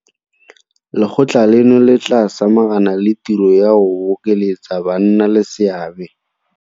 Lekgotla leno le tla samagana le tiro ya go bokeletsa bannaleseabe.